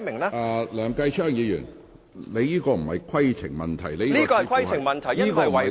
梁繼昌議員，你所提述的並非規程問題。